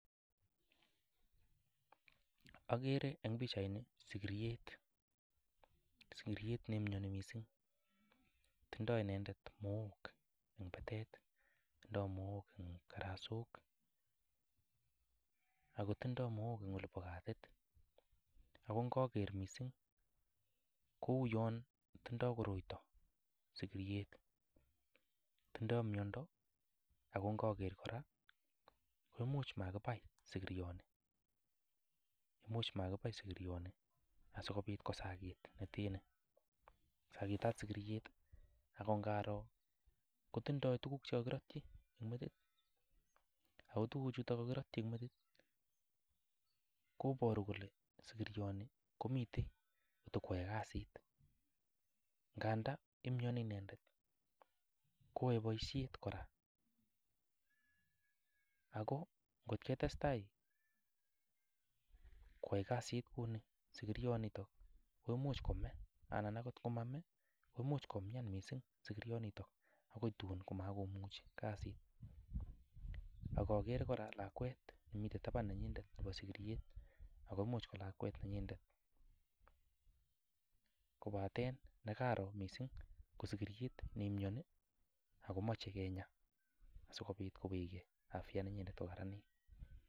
Akere eng pichaini sikiryet, sikiryet neimioni mising. Tindoi inendet mook eng batet, tindoi mook eng karasok akotindoi mook eng olipo katit. Ako ngaker mising kouyon tindoi koroito sikiryet, tindoi miondo ako ngaker kora ko imuch makibai sikiryoni, imuch makibai sikiryoni asikobit kosakit nete ni. Sakitat sikiryet akongaro kotindoi tuguk chekakirotchi eng metit ako tuguchuto kakirotchi eng metit koboru kole sikiryoni komite kotakwoe kasit nganda imioni inendet kwoe boishet kora ako nkot ketestai kwoe kasit kuni sikiryonitok ko much kome anan akot nkomame kwagoi komian mising sikiryonitok akoi tun makomuchi kasit. Akakere kora lakwet nemite taban nenyindet nepo sikiryet ako much ko lakwet nenyindet kobaten nekaro mising ko sikiryet neimioni akomoche kenya asikobit kowechgei afya nenyinet kokararanit.